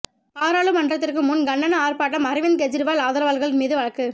பாராளுமன்றத்துக்கு முன் கண்டன ஆர்ப்பாட்டம் அரவிந்த் கெஜ்ரிவால் ஆதரவாளர்கள் மீது வழக்கு